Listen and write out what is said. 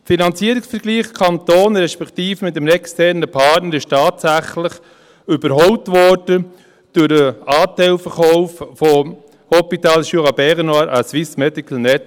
Der Finanzierungsvergleich mit Kantonen respektive mit einem externen Partner wurde tatsächlich durch den Anteilverkauf des Hôpital Jura Bernois (HJB) an das SMN überholt.